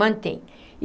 Mantém.